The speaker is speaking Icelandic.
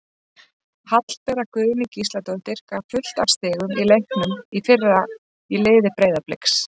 Hallbera Guðný Gísladóttir gaf fullt af stigum í leiknum í fyrra í liði Breiðabliks.